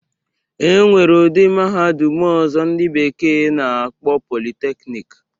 E nwere ụdi mahadum ọzọ ndị bekee na-akpọ 'Polytechnic'